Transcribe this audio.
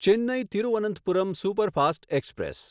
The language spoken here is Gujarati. Chennai Thiruvananthapuram superfast express